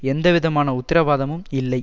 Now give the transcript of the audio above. எந்த விதமான உத்திரவாதமும் இல்லை